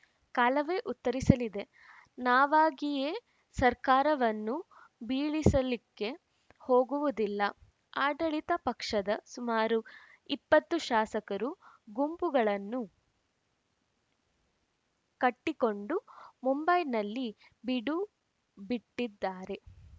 ಕಾಲವೇ ಉತ್ತರಿಸಲಿದೆ ನಾವಾಗಿಯೇ ಸರ್ಕಾರವನ್ನು ಬೀಳಿಸಲಿಕ್ಕೆ ಹೋಗುವುದಿಲ್ಲ ಆಡಳಿತ ಪಕ್ಷದ ಸುಮಾರು ಇಪ್ಪತ್ತು ಶಾಸಕರು ಗುಂಪುಗಳನ್ನು ಕಟ್ಟಿಕೊಂಡು ಮುಂಬೈನಲ್ಲಿ ಬೀಡುಬಿಟ್ಟಿದ್ದಾರೆ